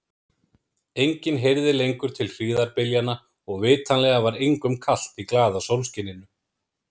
Enginn heyrði lengur til hríðarbyljanna og vitanlega var engum kalt í glaða sólskininu.